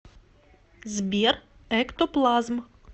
сбер эктоплазм